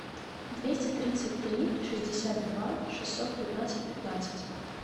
двести тридцать три шестьдесят два шестьсот пятнадцать пятнадцать